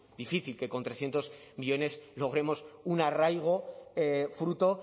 difícil que con trescientos millónes logremos un arraigo fruto